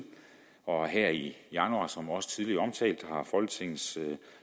og her i januar som også tidligere omtalt har folketingets